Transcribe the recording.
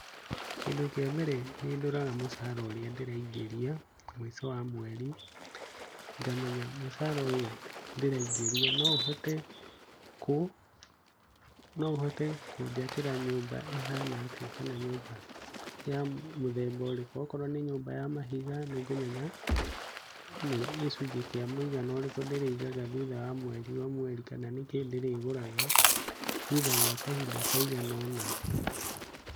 Kĩndũ kĩa mbere nĩndoraga mũcaara ũrĩa ndĩraĩngĩria mũico wa mweri, ngamenya mũcara ũyũ ndĩraĩngĩria no ũhote kũjakĩra nyumba ĩhana atĩa kana nyumba ya mũthemba ũrĩku, korwo nĩ nyumba ya mahiga nĩngũmenya nĩ gĩcũnje kĩa mũigana ũriku ndĩrĩigaga thutha wa mweri ũmwe, kana nĩkĩ ndĩrĩgũraga thũtha wa kahĩnda kaĩgana ũna.